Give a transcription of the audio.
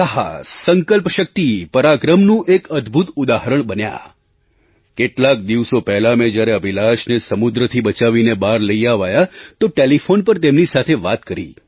સાહસ સંકલ્પશક્તિ પરાક્રમનું એક અદભૂત ઉદાહરણ બન્યા કેટલાક દિવસો પહેલાં મેં જ્યારે અભિલાષને સમુદ્રથી બચાવીને બહાર લઈ અવાયા તો ટેલિફૉન પર તેમની સાથે વાત કરી